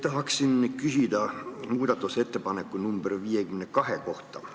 Tahan küsida muudatusettepaneku nr 52 kohta.